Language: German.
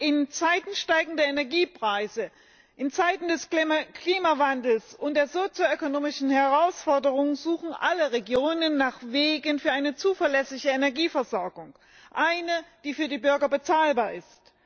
In Zeiten steigender Energiepreise, in Zeiten des Klimawandels und der sozioökonomischen Herausforderungen suchen alle Regionen nach Wegen für eine zuverlässige Energieversorgung. Eine, die für die Bürger bezahlbar ist.